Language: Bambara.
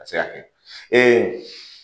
A bɛ se ka kɛ